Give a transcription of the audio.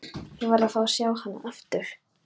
Ég varð að fá að sjá hana aftur.